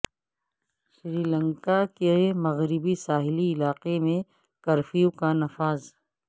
سری لنکا کے مغربی ساحلی علاقہ میں کرفیو کا نفاذ